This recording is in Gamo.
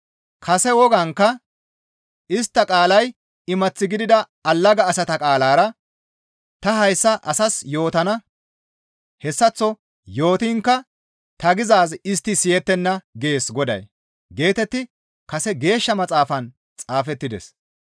Kase wogaankka, « ‹Istta qaalay imath gidida allaga asata qaalara ta hayssa asaas yootana. Hessaththo yootiinkka ta gizaaz istti siyettenna› gees Goday» geetetti kase Geeshsha Maxaafan xaafettides.